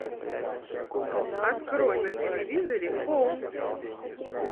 открой на телевизоре хоум